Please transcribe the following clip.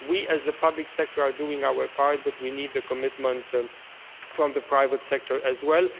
year. We, as the public sector, are doing our part, but we need a commitment from the private sector as